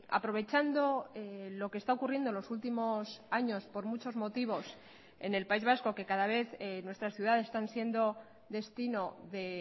aprovechando lo que está ocurriendo en los últimos años por muchos motivos en el país vasco que cada vez nuestras ciudades están siendo destino de